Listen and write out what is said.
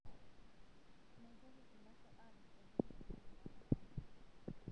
Meitoki ilasho aroot oleng' tenak noong'otonye.